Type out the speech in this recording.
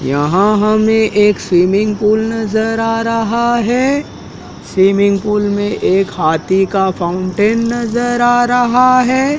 यहां हमें एक स्विमिंग पूल नजर आ रहा है स्विमिंग पूल में एक हाथी का फाउंटेन नजर आ रहा है।